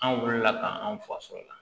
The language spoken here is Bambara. An wulila ka anw faso la